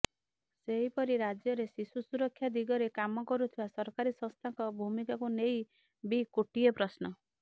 ସେହିପରି ରାଜ୍ୟରେ ଶିଶୁ ସୁରକ୍ଷା ଦିଗରେ କାମ କରୁଥିବା ସରକାରୀ ସଂସ୍ଥାଙ୍କ ଭୂମିକାକୁ ନେଇ ବି କୋଟିଏ ପ୍ରଶ୍ନ